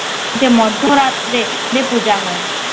যে মধ্যরাত্রে যে পূজা হয়